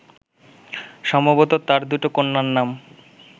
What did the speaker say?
সম্ভবত তাঁর দুটো কন্যার নাম